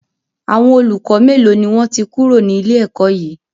Àwọn olùkọ́ melo ni wọn ti kúrò ní ilé ẹ̀kọ́ yí?